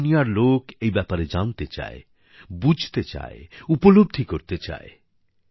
সারা দুনিয়ার লোক এই ব্যাপারে জানতে চায় বুঝতে চায় উপলব্ধি করতে চায়